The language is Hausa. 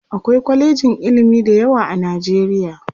akwai kwalejin ilimi da yawa a nijeriya